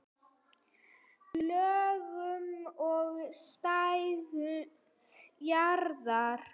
Lögun og stærð jarðar